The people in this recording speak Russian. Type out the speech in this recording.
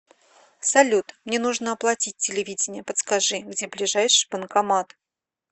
салют мне нужно оплатить телевидение подскажи где ближайший банкомат